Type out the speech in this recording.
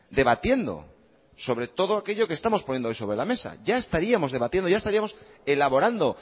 debatiendo sobre todo aquello que estamos poniendo hoy sobre la mesa ya estaríamos debatiendo ya estaríamos elaborando